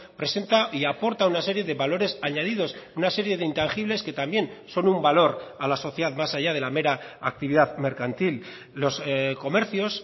presenta y aporta una serie de valores añadidos una serie de intangibles que también son un valor a la sociedad más allá de la mera actividad mercantil los comercios